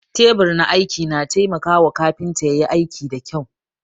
Teɓur na aiki na taimaka wa kafinta ƴayi aiki da ƙƴau